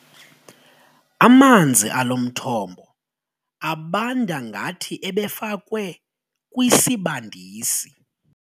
Amanzi alo mthombo abanda ngathi ebefakwe kwisibandisi.